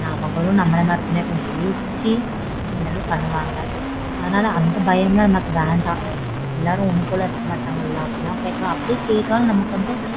அவங்களும் நம்மள மாறிதான் கொஞ்சம் யோசிச்சு எல்லாமே பண்ணுவாங்க. அதனால அந்த பயம்லாம் நமக்கு வேண்டாம். எல்லாரும் ஒண்ணு போல இருக்க மாட்டாங்கல அப்படிலாம் கேக்க அப்படியே கேட்டாலும் நமக்கு வந்து.